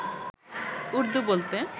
উর্দু বলতে